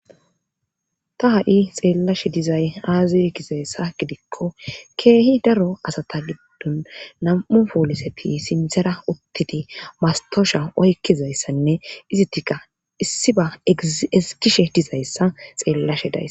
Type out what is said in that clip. Ta ha'i xeelashe dizaysi aaze gizayssa gidiko keehi daro asata gidon nam'u poliseti sinthara utidi mastosha oyqidizayssanne izatikka issiba ezgishe dizayssa xeelashe days.